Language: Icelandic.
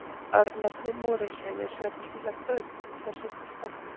Örnefnið Morinsheiði er sérkennilegt og uppruni þess er ekki þekktur.